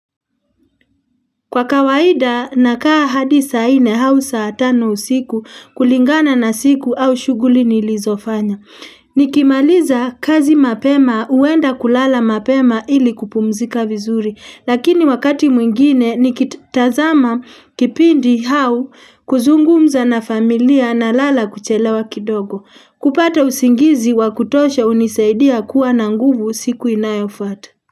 Kwa kawaida nakaa hadi saa ine hausaa tano usiku kulingana na siku au shughuli nilizofanya. Nikimaliza kazi mapema uenda kulala mapema ili kupumzika vizuri. Lakini wakati mwingine nikitazama kipindi hau kuzungumza na familia na lala kuchelewa kidogo. Kupata usingizi wa kutosha unisaidia kuwa na nguvu siku inayofata.